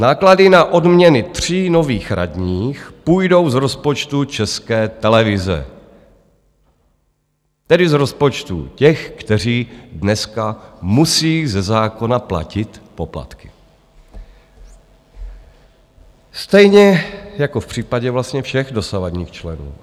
Náklady na odměny tří nových radních půjdou z rozpočtu České televize, tedy z rozpočtu těch, kteří dneska musí ze zákona platit poplatky, stejně jako v případě vlastně všech dosavadních členů.